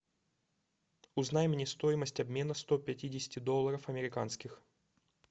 узнай мне стоимость обмена сто пятидесяти долларов американских